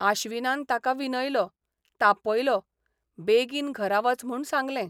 आश्विनान ताका विनयलो, तापयलो, बेगीन घरा वच म्हूण सांगलें.